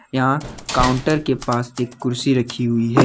यहां काउंटर के पास एक कुर्सी रखी हुई है।